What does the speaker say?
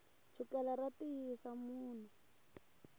chukele ra tiyisa munhu